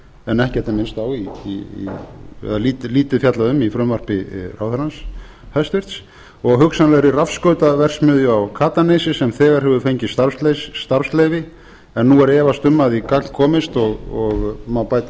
en lítið fjallað um í frumvarpi ráðherrans hæstvirtur og hugsanlegri rafskautaverksmiðju á katanesi sem þegar hefur fengið starfsleyfi en efast er um að í gagn komist og má bæta